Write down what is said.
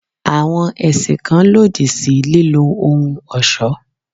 Àwọn ẹ̀sìn kan lòdì sí lílọ ohun ọ̀ṣọ́.